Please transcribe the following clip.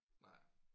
Nej